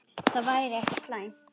Það væri ekki slæmt.